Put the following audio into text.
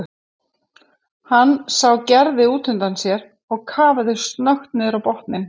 Hann sá Gerði útundan sér og kafaði snöggt niður á botninn.